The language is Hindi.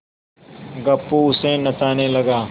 गप्पू उसे नचाने लगा